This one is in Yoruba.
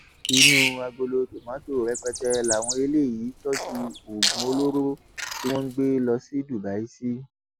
inú agolo tomato rẹpẹtẹ làwọn eléyìí tọjú oògùn olóró tí wọn ń gbé lọ sí dubai sí